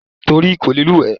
Torí kò lè lùwẹ̀ ni.